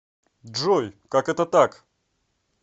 джой как это так